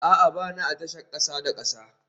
A'a, ba ni a tashar kasa da kasa